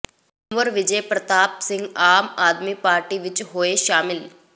ਕੁੰਵਰ ਵਿਜੇ ਪ੍ਰਤਾਪ ਸਿੰਘ ਆਮ ਆਦਮੀ ਪਾਰਟੀ ਵਿੱਚ ਹੋਏ ਸ਼ਾਮਲ